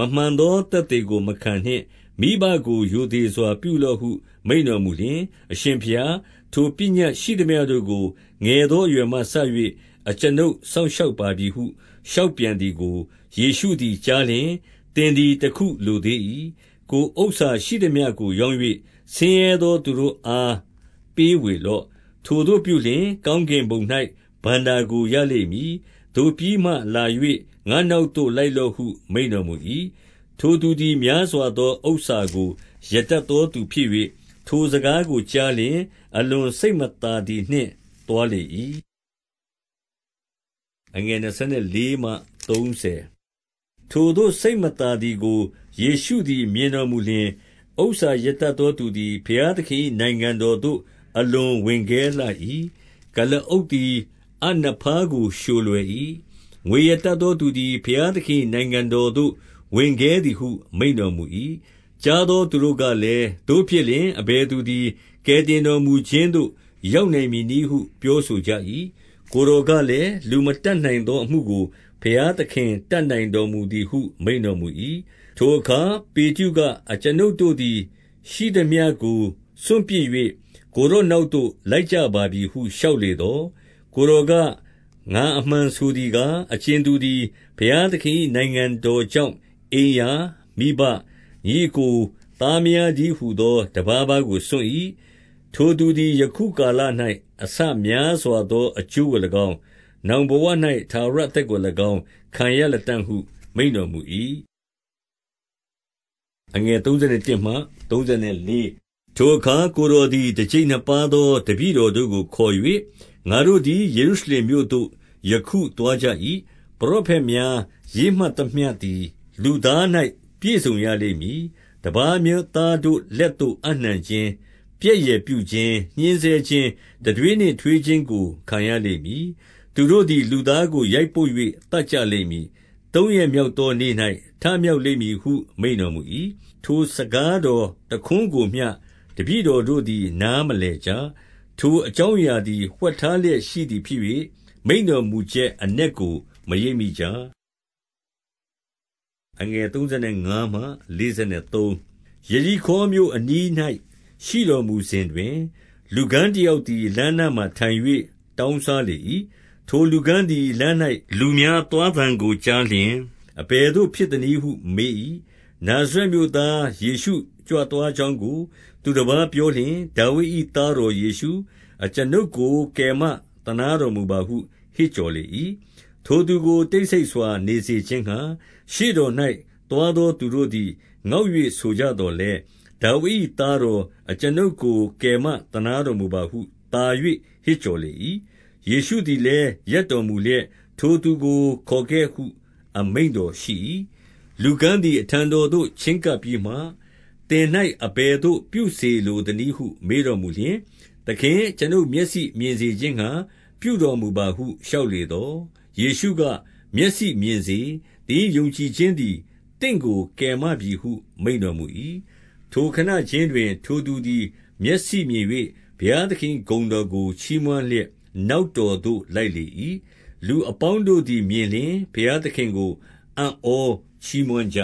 မမှန်သော သက်သေ ကို မခံနှင့်။ မိဘကို ရိုသေစွာပြုလော့ဟု မိန့်တော်မူလျှင်၊ အရှင်ဘုရား၊ ထိုပညတ်ရှိသမျှတို့ကို ငယ်သောအရွယ်မှစ၍ အကျွန်ုပ်စောင့်ရှောက်ပါပြီဟု လျှောက် ပြန်သည်ကို ယေရှုသည်ကြားလျှင် သင်သည် တခုလိုသေး၏။ ကိုယ်ဥစ္စာရှိသမျှကို ရောင်း၍ ဆင်းရဲသောသူတို့အား ပေးဝေလော့။ ထိုသို့ပြုလျှင် ကောင်းကင်ဘုံ၌ ဘဏ္ဍာကို ရလိမ့်မည်။ သို့ပြီးမှ လာ၍ ငါ့နောက်သို့လိုက်လော့ဟု မိန့်တော်မူ၏။ ထိုသူသည် များစွာသောဥစ္စာကို ရတတ်သောသူဖြစ်၍၊ ထိုစကားကိုကြားလျှင် အလွန်စိတ်မသာသည် နှင့် သွားလေ၏။ ထိုသို့ စိတ်မသာသည်ကို ယေရှုသည် မြင်တော်မူလျှင်၊ ဥစ္စာရတတ်သောသူသည် ဘုရားသခင်၏ နိုင်ငံတော်သို့ အလွန်ဝင်ခဲလှ၏။ ကုလားအုပ်သည် အပ်နဖားကို လျှိုလွယ်၏။ ငွေရတတ်သောသူသည် ဘုရားသခင်၏ နိုင်ငံတော်သို့ ဝင်ခဲသည်ဟု မိန့်တော်မူ၏။ ကြားသောသူတို့ကလည်း၊ သို့ဖြစ်လျှင် အဘယ်သူသည် ကယ်တင်တော်မူခြင်းသို့ ရောက်နိုင်မည်နည်း ဟု ပြောဆိုကြ၏။ ကိုယ်တော်ကလည်း၊ လူမတတ်နိုင်သောအမှုကို ဘုရားသခင်တတ်နိုင်တော်မူသည်ဟု မိန့်တော်မူ၏။ ထိုအခါ ပေတရုက၊ အကျွန်ုပ်တို့သည် ရှိသမျှကို စွန့်ပစ်၍ ကိုယ်တော်နောက်သို့ လိုက်ကြပါပြီဟု လျှောက်လေသော်၊ ကိုယ်တော်က၊ ငါအမှန်ဆိုသည်ကား၊ အကြင်သူသည် ဘုရားသခင်၏ နိုင်ငံတော်ကြောင့်၊ အိမ်ရာ၊ မိဘ၊ ညီအစ်ကို၊ သားမယားတည်းဟူသော တပါးပါးကို စွန့်၏။ ထိုသူသည် ယခုကာလ၌ အဆများစွာသောအကျိုးကို၎င်း၊ နောင်ဘဝ၌ ထာဝရအသက်ကို၎င်း ခံရ လတံ့ဟု မိန့်တော်မူ၏။ ထိုအခါ ကိုယ်တော်သည် တကျိပ်နှစ်ပါးသောတပည့်တော်တို့ကို ခေါ်၍၊ ငါတို့သည် ယေရုရှလင်မြို့သို့ ယခု သွားကြ၏။ ပရောဖက်များ ရေးမှတ်သမျှသည် လူသား၌ ပြည့်စုံရလိမ့်မည်။ တပါးအမျိုးသားတို့လက်သို့ အပ်နှံခြင်း၊ ပြက်ယယ်ပြုခြင်း၊ ညှဉ်းဆဲခြင်း၊ တံတွေးနှင့် ထွေးခြင်းကို ခံရလိမ့်မည်။ သူတို့သည် လူသားကို ရိုက်ပုတ်၍သတ်ကြလိမ့်မည်။ သုံးရက်မြောက်သောနေ့၌ ထမြောက်လိမ့်မည်ဟု မိန့်တော်မူ၏။ ထိုစကားတော်တခွန်းကိုမျှ တပည့်တော်တို့သည်နားမလည်ကြ။ ထိုအကြောင်းအရာသည် ဝှက်ထား လျက် ရှိသည်ဖြစ်၍ မိန့်တော်မူချက်အနက်ကို မရိပ်မိကြ။ ယေရိခေါမြို့အနီး၌ ရှိတော်မူစဉ်တွင်၊ လူကန်းတယောက်သည် လမ်းနားမှာထိုင်၍ တောင်းစား လေ၏။ ထိုလူကန်းသည် လမ်း၌ လူများသွားသံကို ကြားလျှင် အဘယ်သို့ ဖြစ်သနည်းဟုမေး၏။ နာဇရက်မြို့သား ယေရှုကြွသွားကြောင်းကို သူတပါးပြောလျှင်၊ ဒါဝိဒ်၏သားတော်ယေရှု၊ အကျွန်ုပ်ကို ကယ်မသနားတော်မူပါဟု ဟစ်ကြော်လေ၏။ ထိုသူကို တိတ်ဆိတ်စွာနေစေခြင်းငှါ ရှေ့တော်၌ သွားသောသူတို့သည် ငေါက်၍ ဆိုကြသော်လည်း၊ ဒါဝိဒ်၏ သားတော်၊ အကျွန်ုပ်ကို ကယ်မသနားတော်မူပါဟု သာ၍ ဟစ်ကြော်ကြလေ၏။ ယေရှုသည်လည်း ရပ်တော်မူလျက်၊ ထိုသူကို ခေါ်ခဲ့ဟု အမိန့်တော်ရှိ၏။ လူကန်းသည် အထံတော်သို့ ချဉ်းကပ်ပြီးမှ၊ သင်၌အဘယ်သို့ ပြုစေလိုသနည်းဟု မေးတော်မူလျှင်၊ သခင်၊ အကျွန်ုပ်မျက်စိမြင်စေခြင်းငှါ ပြုတော်မူပါဟု လျှောက်လေသော်၊ ယေရှုက၊ မျက်စိမြင်စေ။ သင်၏ ယုံကြည်ခြင်းသည် သင့်ကို ကယ်မပြီဟု မိန့်တော်မူ၏။ ထိုခဏခြင်းတွင် ထိုသူသည် မျက်စိမြင်၍ ဘုရားသခင်၏ဂုဏ်တော်ကို ချီးမွမ်းလျက် နောက်တော်သို့ လိုက်လေ၏။ လူအပေါင်းတို့သည် မြင်လျှင် ဘုရားသခင်ကို အံ့ဩချီးမွမ်းကြ